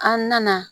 An nana